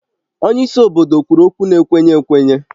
Onye isi obodo kwuru okwu na-ekwenye ekwenye